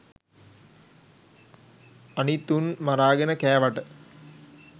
අනිත් උන් මරාගෙන කෑවට